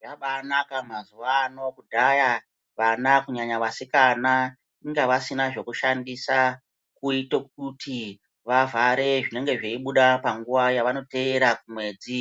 Zvabaanaka mazuwa ano, kudhaya vana kunyanya vasikana inga vasina zvekushandisa kuito kuti vavhare zvinenge zveibuda panguwa yevanoteera kumwedzi.